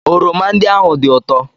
oroma ndị ahụ dị ụtọ?